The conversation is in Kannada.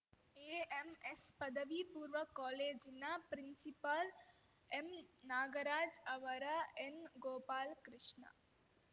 ಎಎಂಎಸ್ ಪದವಿ ಪೂರ್ವ ಕಾಲೇಜಿನ ಪ್ರಿನ್ಸಿಪಾಲ್ ಎಂ ನಾಗರಾಜ್ ಅವರ ಎನ್ ಗೋಪಾಲಕೃಷ್ಣ